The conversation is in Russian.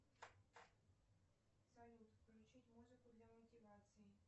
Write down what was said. салют включить музыку для мотивации